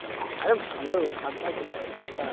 আরে ভালো, ঠান্ডা কোথায় ঠান্ডা?